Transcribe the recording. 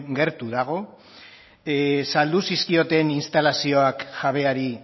gertu dago saldu zizkioten instalazioak jabeari